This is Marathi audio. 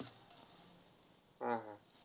हा हा.